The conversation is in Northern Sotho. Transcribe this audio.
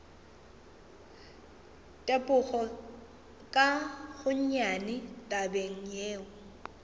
tepoge ka gonnyane tabeng yeo